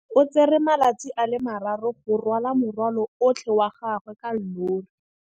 O tsere malatsi a le marraro go rwala morwalo otlhe wa gagwe ka llori.